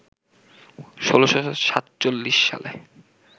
১৬৪৭ সালে